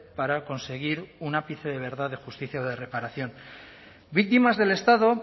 para conseguir un ápice de verdad de justicia de reparación víctimas del estado